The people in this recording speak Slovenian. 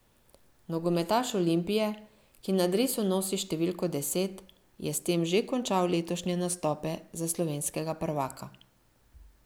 Nogometaš Olimpije, ki na dresu nosi številko deset, je s tem že končal letošnje nastope za slovenskega prvaka.